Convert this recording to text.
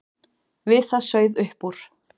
Við það sauð upp úr.